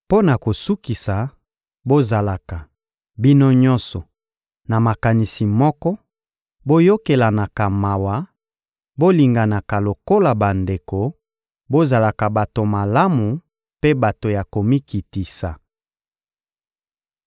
Mpo na kosukisa, bozalaka, bino nyonso, na makanisi moko, boyokelanaka mawa, bolinganaka lokola bandeko, bozalaka bato malamu mpe bato ya komikitisa.